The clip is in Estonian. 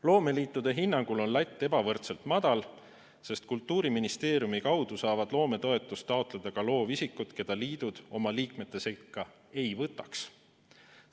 Loomeliitude hinnangul on latt ebavõrdselt madal, sest Kultuuriministeeriumi kaudu saavad loometoetust taotleda ka loovisikud, keda liidud oma liikmete sekka ei võtaks.